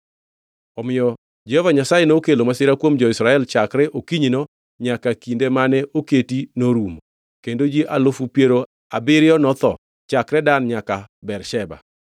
Omiyo Jehova Nyasaye nokelo masira kuom jo-Israel chakre okinyino nyaka kinde mane oketi norumo, kendo ji alufu piero abiriyo notho chakre Dan nyaka Bersheba.